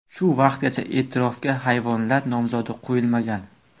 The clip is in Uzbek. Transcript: Shu vaqtgacha e’tirofga hayvonlar nomzodi qo‘yilmagan.